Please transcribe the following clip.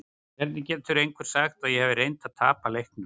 Hvernig getur einhver sagt að ég hafi reynt að tapa leiknum?